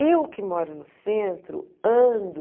Eu que moro no centro, ando...